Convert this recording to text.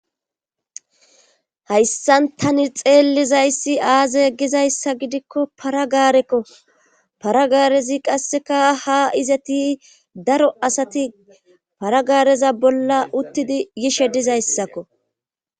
Hayssan tani xeellizayssi aaze gizayssa gidikko paragaarekko paragaarezi qasseka ha izati daro asati paragaareza bolla uttidi gishe dizayssakko.